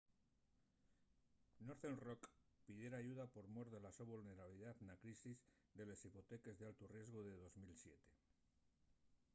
northern rock pidiera ayuda por mor de la so vulnerabilidá na crisis de les hipoteques d’altu riesgu de 2007